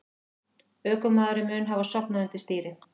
Ökumaðurinn mun hafa sofnað undir stýri